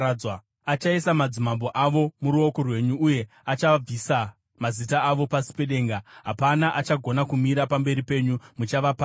Achaisa madzimambo avo muruoko rwenyu, uye achabvisa mazita avo pasi pedenga. Hapana achagona kumira pamberi penyu; muchavaparadza.